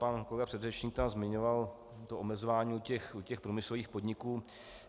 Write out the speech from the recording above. Pan kolega předřečník tam zmiňoval to omezování u průmyslových podniků.